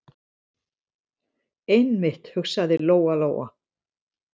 Einmitt, hugsaði Lóa- Lóa.